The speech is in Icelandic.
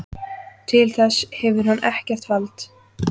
Til þess hefur hann ekkert vald!